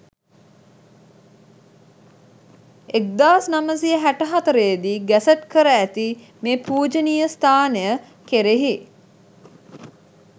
1964 දී ගැසට් කර ඇති මේ පූජනීය ස්ථානය කෙරෙහි